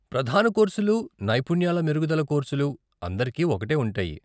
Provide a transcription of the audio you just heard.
ప్రధాన కోర్సులు, నైపుణ్యాల మెరుగుదల కోర్సులు అందరికీ ఒకటే ఉంటాయి.